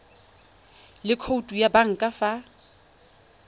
le khoutu ya banka fa